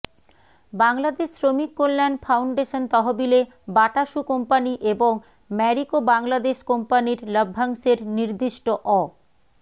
Bangladesh Shramik Kalyan foundation তহবিলে Bata shoe company এবং ম্যারিকো বাংলাদেশ কোম্পানির লভ্যাংশের নির্দিষ্ট অ